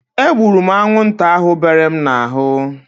E gburu m anwụnta ahu bere m n'ahụ